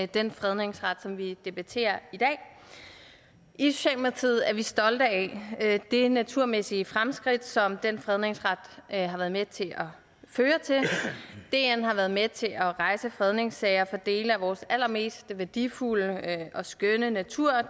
den fredningsret som vi debatterer i dag i socialdemokratiet er vi stolte af det naturmæssige fremskridt som den fredningsret har været med til at føre til dn har været med til at rejse fredningssager for dele af vores allermest værdifulde og skønne natur og